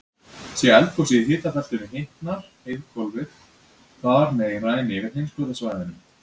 sé eldgosið í hitabeltinu hitnar heiðhvolfið þar meira en yfir heimskautasvæðunum